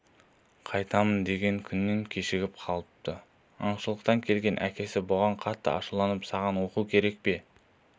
қайтамын деген күннен кешігіп қалыпты аңшылықтан келген әкесі бұған қатты ашуланып саған оқу керек пе